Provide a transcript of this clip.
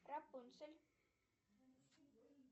рапунцель